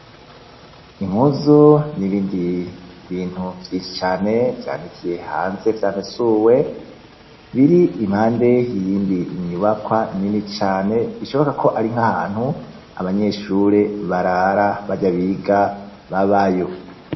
Impuzu n'ibindi bintu vyinshi cane vyanikiye hanze vyamesuwe biri impande y'iyindi nyubakwa nini cane, bishoboka ko ari nk'ahantu abanyeshure barara barya biga babayo.